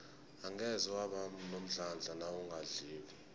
angeze waba nomdlandla nawungadliko